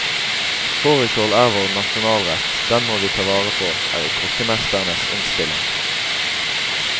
Fårikål er vår nasjonalrett, den må vi ta vare på, er kokkemesternes innstilling.